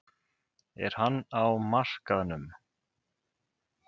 Er hann á markaðnum?